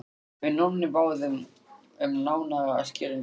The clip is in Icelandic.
Við Nonni báðum um nánari skýringu.